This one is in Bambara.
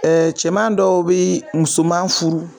cɛman dɔw bi musoman furu